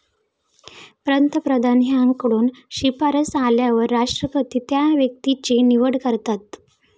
पंतप्रधान यांकडून शिफारस आल्यावर राष्ट्रपती त्या व्यक्तीची निवड करतात.